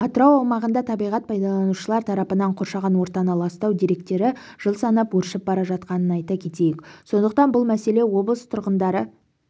атырау аумағында табиғат пайдаланушылар тарапынан қоршаған ортаны ластау деректері жыл санап өршіп бара жатқанын айта кетейік сондықтан бұл мәселе облыс тұрғындары